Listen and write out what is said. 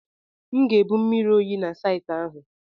M ga-ebu mmiri oyi na saịtị ahụ.